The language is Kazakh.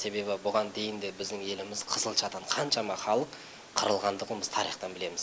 себебі бұған дейін де біздің еліміз қызылшадан қаншама халық қырылғандығын біз тарихтан білеміз